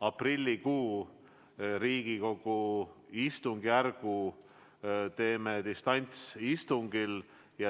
aprillikuus Riigikogu istungid distantsistungitena.